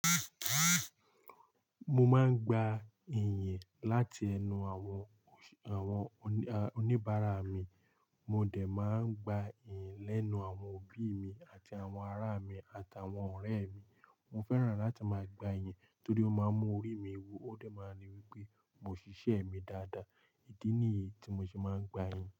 Mo máa ń gba ìyìn láti ẹnu àwọn, àwọn oníbàárà mi. Mo dè máa ń gba ìyìn lẹ́nu àwọn òbí mi àti àwọn ará mi àtàwọn ọ̀rẹ́ mi. Mo fẹ́ràn láti máa gba ìyìn torí ó máa ń mú orí mi wú ó dè máa ń rí wí pé mo ṣíṣe mi dáadáa. Ídí nìyí tí mo ṣe máa ń gba ìyìn.